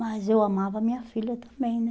Mas eu amava minha filha também, né?